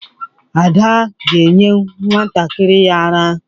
Ada ga-enye nwantakịrị ya àrá.